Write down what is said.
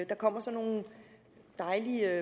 der kommer sådan nogle dejlige